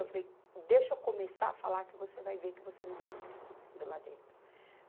Eu falei, deixa eu começar a falar que você vai ver que você não sabe o que está acontecendo lá dentro.